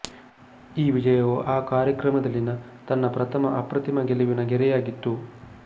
ಈ ವಿಜಯವು ಆ ಕಾರ್ಯಕ್ರಮದಲ್ಲಿನ ತನ್ನ ಪ್ರಥಮ ಅಪ್ರತಿಮ ಗೆಲುವಿನ ಗೆರೆಯಾಗಿತ್ತು